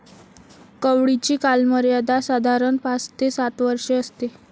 कवळीची कालमर्यादा साधारण पाच ते सात वर्षे असते.